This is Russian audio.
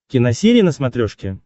киносерия на смотрешке